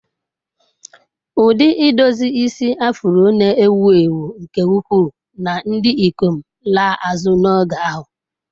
Ụdị idozi isi Afro na-ewu ewu nke ukwuu na ndị ikom laa azụ n'oge ahụ.